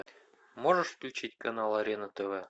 можешь включить канал арена тв